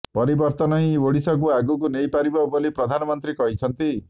ପରିବର୍ତ୍ତନ ହିଁ ଓଡ଼ିଶାକୁ ଆଗକୁ ନେଇପାରିବ ବୋଲି ପ୍ରଧାନମନ୍ତ୍ରୀ କହିଛନ୍ତି